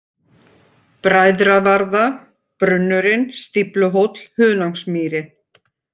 Bræðravarða, Brunnurinn, Stífluhóll, Hunangsmýri